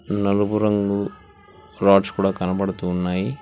నలుపురంగు rods కూడా కనబడుతూ ఉన్నాయి.